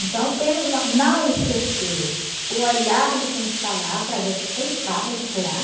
Então, temos uma... Não esquecer o olhar de quem está lá para a gente tentar recuperar.